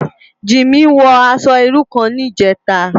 Jimi wò aṣò irú kán nijètá